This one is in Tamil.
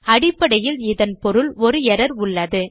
அடிப்படையில் இதன் பொருள் ஒரு எர்ரர் உள்ளது